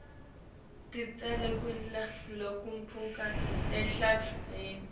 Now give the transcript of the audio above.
titselo kudla lokuphuma etihlahleni